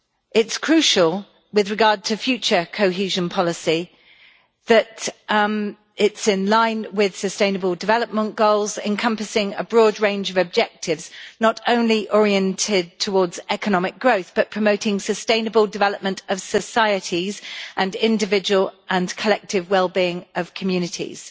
It is crucial that future cohesion policy is in line with sustainable development goals encompassing a broad range of objectives, not only oriented towards economic growth but promoting sustainable development of societies and individual and collective wellbeing of communities.